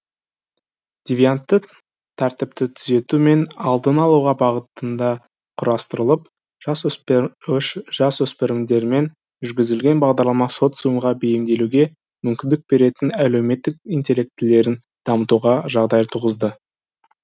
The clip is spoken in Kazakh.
девиантты тәртіпті түзету мен алдын алуға бағытында құрастырылып жасөспірімдермен жүргізілген бағдарлама социумға бейімделуге мүмкіндік беретін әлеуметтік интеллектілерін дамытуға жағдай туғызды